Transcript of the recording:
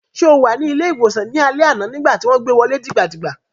Ṣé o wà ní ilé-ìwòsàn ní alẹ́ àná nígbà tí wọ́n gbé wọlé dìgbà dìgbà?